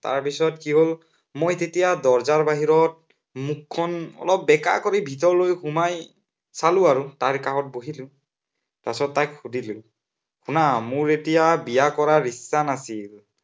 তাৰপিছত কি হল, মই যেতিয়া দৰজাৰ বাহিৰত মুখখন অলপ বেঁকা কৰি ভিতৰলৈ সোমাই চালো আৰু, তাইৰ কাষত বহিলো, পাছত তাইক সুধিলো, শুনা মোৰ এতিয়া বিয়া কৰাৰ ইচ্ছা নাছিল।